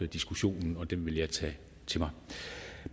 diskussionen og den vil jeg tage til mig